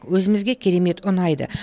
өзімізге керемет ұнайды